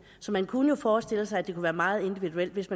så man kunne jo forestille sig at det ville være meget individuelt hvis